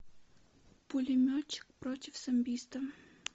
пулеметчик против самбиста